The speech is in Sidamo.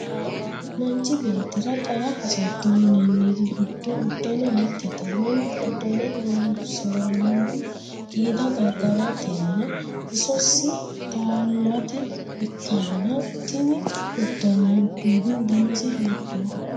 Manchi beetira qara hassatto yinanniri gido udano mitete Manu udano horoonsiranohu qiida gargaratenna bisosi teelate ikanna tinne udanonnihu dannise hiittooho?